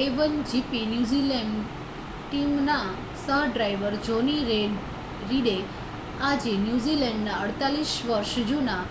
a1gp New Zealand ટીમના સહ-ડ્રાઇવર Johnny રીડે આજે ન્યૂઝીલૅન્ડના 48 વર્ષ જૂના